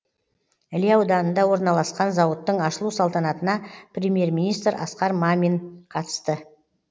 іле ауданында орналасқан зауыттың ашылу салтанатына премьер министр асқар мамин қатысты